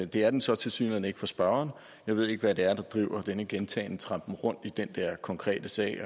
det er den så tilsyneladende ikke for spørgeren jeg ved ikke hvad det er der driver denne gentagne trampen rundt i den der konkrete sag